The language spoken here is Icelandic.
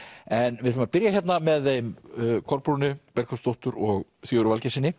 en við ætlum að byrja hérna með þeim Kolbrúnu Bergþórsdóttur og Sigurði Valgeirssyni